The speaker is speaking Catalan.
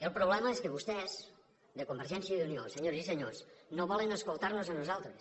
el problema és que vostès de convergència i unió senyores i senyors no volen escoltar nos a nosaltres